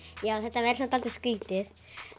já það verður samt dálítið skrítið